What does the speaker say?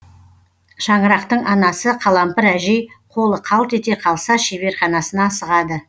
шаңырақтың анасы қалампыр әжей қолы қалт ете қалса шеберханасына асығады